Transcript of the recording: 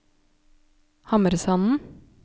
Hamresanden